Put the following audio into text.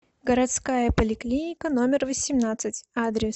городская поликлиника номер восемнадцать адрес